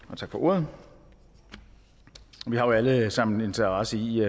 og tak for ordet vi har jo alle sammen en interesse i